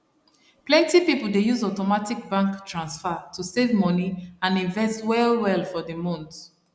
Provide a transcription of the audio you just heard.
plenty people dey use automatic bank transfer to save money and invest well well for the month